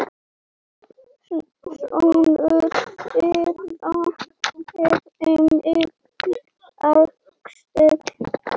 Sonur þeirra er Emil Axel.